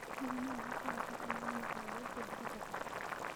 Hihi no ũhote gũcoka na ihenya o ũrĩa kũngĩhoteka?